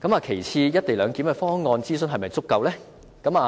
其次，"一地兩檢"的方案的諮詢是否足夠呢？